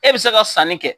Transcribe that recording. E bɛ se ka sanni kɛ